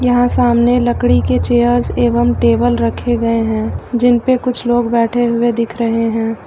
यहां सामने लकड़ी के चेयर्स एवं टेबल रखे गए हैं जिनपे कुछ लोग बैठे हुए दिख रहे हैं।